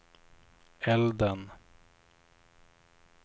elden